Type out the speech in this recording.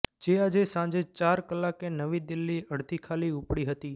જે આજે સાંજે ચાર કલાકે નવી દિલ્હી અડધી ખાલી ઉપડી હતી